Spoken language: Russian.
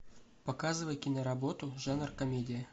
показывай киноработу жанр комедия